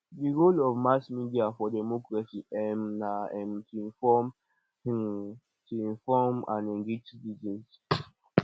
the role of mass media for democracy um na um to inform um to inform and engage citizens